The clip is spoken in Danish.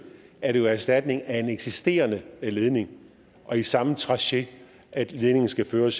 er det jo erstatning af en eksisterende ledning og i samme traché at ledningen skal føres